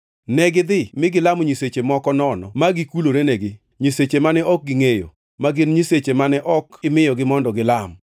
Negidhi mi gilamo nyiseche moko nono ma gikulorenegi, nyiseche mane ok gingʼeyo, ma gin nyiseche mane ok imiyogi mondo gilam.